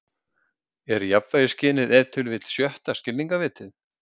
„er jafnvægisskynið ef til vill sjötta skilningarvitið“